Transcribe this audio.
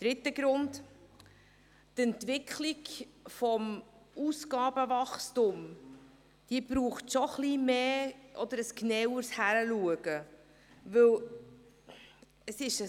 Dritter Grund: Die Entwicklung des Ausgabenwachstums braucht schon ein bisschen mehr oder ein genaueres Hinschauen.